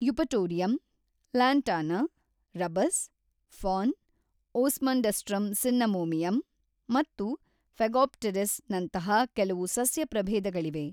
Eupatorium, Lantana, Rubus, fern, Osmundastrum cinnamomeum ಮತ್ತು Phegopteris ನಂತಹ ಕೆಲವು ಸಸ್ಯ ಪ್ರಭೇದಗಳಿವೆ.